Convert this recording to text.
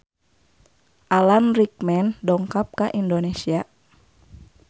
Alan Rickman dongkap ka Indonesia